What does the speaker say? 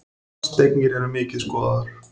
Fasteignir eru mikið skoðaðar